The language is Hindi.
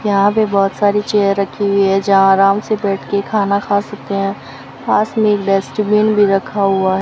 यहां पे बहोत सारी चेयर रखी हुई है जहां आराम से बैठके खाना खा सकते हैं पास में एक डस्टबिन भी रखा हुआ --